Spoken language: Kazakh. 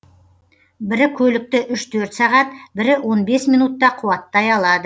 бірі көлікті үш төрт сағат бірі он бес минутта қуаттай алады